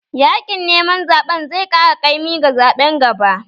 Yaƙin neman zaɓen zai ƙara kaimi ga zaɓen gaba.